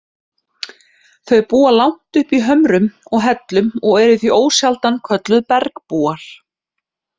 Þau búa langt uppi í hömrum og hellum og eru því ósjaldan kölluð bergbúar.